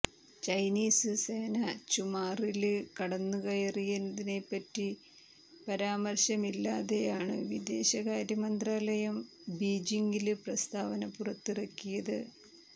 Chinese സേന ചുമാറില് കടന്നുകയറിയതിനെപ്പറ്റി പരാമര്ശമില്ലാതെയാണ് വിദേശകാര്യമന്ത്രാലയം ബീജിംഗില് പ്രസ്താവന പുറത്തിറക്കിയത്